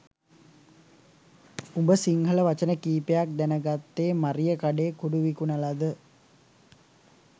උඹ සිංහල වචන කීපයක් දැනගත්තෙ මරියකඩේ කුඩු විකුණලද?